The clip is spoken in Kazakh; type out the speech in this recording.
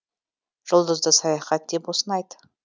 жұлдызды саяхат деп осыны айт